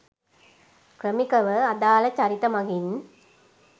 ක්‍රමිකව අදාල චරිත මගින්